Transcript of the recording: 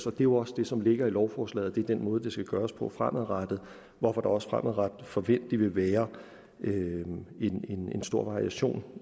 er jo også det som ligger i lovforslaget er den måde det skal gøres på fremadrettet hvorfor der også fremadrettet forventeligt vil være en stor variation